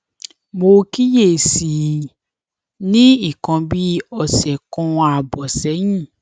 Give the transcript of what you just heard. mo kíyè sí i ní nǹkan bí ọsẹ kan ààbò sẹyìn